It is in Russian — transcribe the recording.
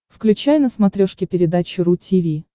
включай на смотрешке передачу ру ти ви